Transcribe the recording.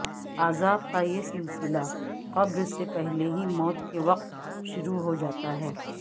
عذاب کا یہ سلسلہ قبر سے پہلے ہی موت کے وقت شروع ہوجاتا ہے